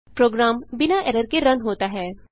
programme बिना error के run होता है